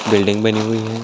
Building बनी हुई है।